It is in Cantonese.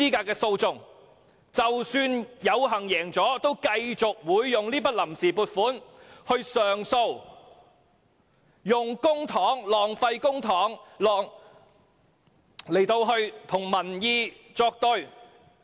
即使敗訴，政府仍會繼續使用這筆臨時撥款進行上訴，耗費公帑與民意作對。